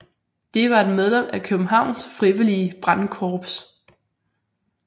Det var et medlem af Københavns frivillige brandkorps